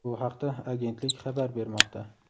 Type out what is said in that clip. Bu haqda agentlik xabar bermoqda.